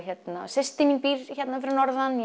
systir mín býr hérna fyrir norðan